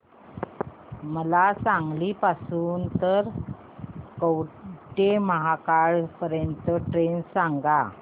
मला सांगली पासून तर कवठेमहांकाळ पर्यंत ची ट्रेन सांगा